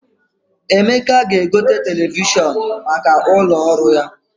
Emeka ga-egote televishọn maka ụlọ ọrụ ya.